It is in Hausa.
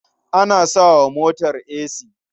An sa wa motar esi.